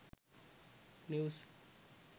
news